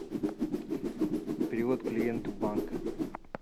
перевод клиенту банка